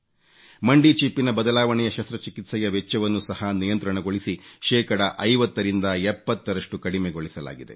ಮಂಡಿ ಚಿಪ್ಪಿನ ಬದಲಾವಣೆಯ ಶಸ್ತ್ರಚಿಕಿತ್ಸೆಯ ವೆಚ್ಚವನ್ನೂ ಸಹ ನಿಯಂತ್ರಣಗೊಳಿಸಿ ಶೇಕಡಾ 50 ರಿಂದ 70 ರಷ್ಟು ಕಡಿಮೆಗೊಳಿಸಲಾಗಿದೆ